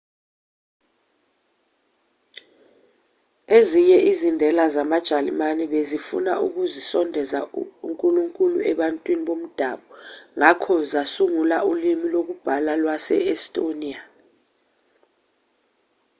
ezinye izindela zamajalimane bezifuna ukusondeza unkulunkulu ebantwini bomdabu ngakho zasungula ulimi lokubhala lwase-estonia